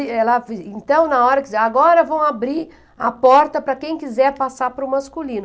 Então, na hora, diziam, agora vão abrir a porta para quem quiser passar para o masculino.